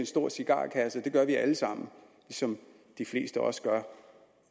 stor cigarkasse og det gør vi alle sammen ligesom de fleste også gør